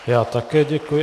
Já také děkuji.